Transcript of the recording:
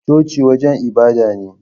Coci wajen ibada ne